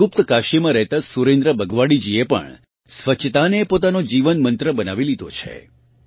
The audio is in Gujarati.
વળી ગુપ્તકાશીમાં રહેતાં સુરેન્દ્ર બગવાડીજી એ પણ સ્વચ્છતાને પોતાનો જીવનમંત્ર બનાવી લીધો છે